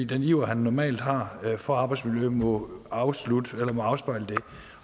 den iver han normalt har for arbejdsmiljø må afspejle det